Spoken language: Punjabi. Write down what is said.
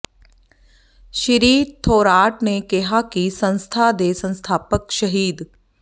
ਸ੍ਰੀ ਥੋਰਾਟ ਨੇ ਕਿਹਾ ਕਿ ਸੰਸਥਾ ਦੇ ਸੰਸਥਾਪਕ ਸ਼ਹੀਦ ਡਾ